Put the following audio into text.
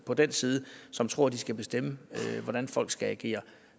på den side som tror at de skal bestemme hvordan folk skal agere